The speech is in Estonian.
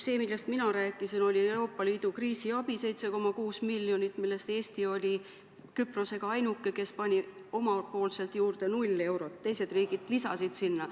See, millest mina rääkisin, oli Euroopa Liidu kriisiabi 7,6 miljonit, milles Eesti oli Küprosega ainuke, kes pani omalt poolt juurde null eurot, teised riigid lisasid sinna.